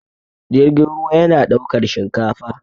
jirgin ruwa yana ɗaukar shinkafa